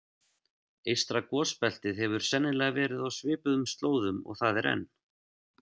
Eystra gosbeltið hefur sennilega verið á svipuðum slóðum og það er enn.